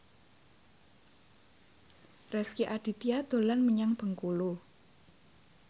Rezky Aditya dolan menyang Bengkulu